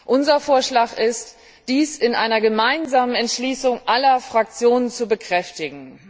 Unser Vorschlag ist, dies in einer gemeinsamen Entschließung aller Fraktionen zu bekräftigen.